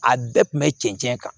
A bɛɛ kun bɛ cɛn cɛn kan